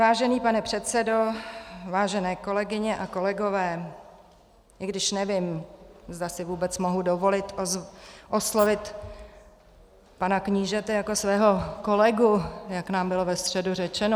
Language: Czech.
Vážený pane předsedo, vážené kolegyně a kolegové - i když nevím, zda si vůbec mohu dovolit oslovit pana knížete jako svého kolegu, jak nám bylo ve středu řečeno.